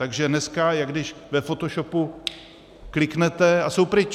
Takže dneska jak když ve fotoshopu kliknete, a jsou pryč.